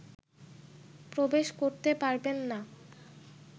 প্রবেশ করতে পারবেন না